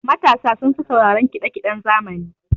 Matasa sun fi sauraran kiɗa kiɗen zamani.